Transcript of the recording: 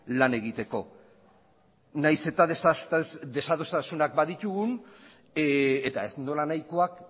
lan egiteko nahiz eta desadostasunak baditugun eta ez nolanahikoak